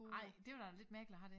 Ej det var da lidt mærkeligt at have det